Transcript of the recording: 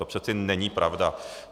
To přece není pravda.